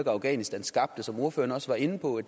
afghanistan skabte som ordføreren også var inde på